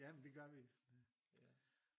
Jamen det gør vi